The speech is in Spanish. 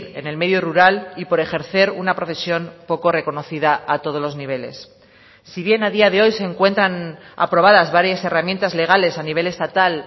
en el medio rural y por ejercer una profesión poco reconocida a todos los niveles si bien a día de hoy se encuentran aprobadas varias herramientas legales a nivel estatal